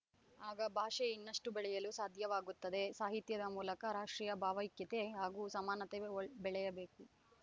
ಆಗ ಭಾಷೆ ಇನ್ನಷ್ಟುಬೆಳೆಯಲು ಸಾಧ್ಯವಾಗುತ್ತದೆ ಸಾಹಿತ್ಯದ ಮೂಲಕ ರಾಷ್ಟ್ರೀಯ ಭಾವೈಕ್ಯತೆ ಹಾಗೂ ಸಮಾನತೆ ಬೆಳೆಯಬೇಕು